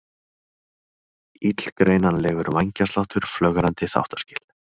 Illgreinanlegur vængjasláttur, flögrandi þáttaskil.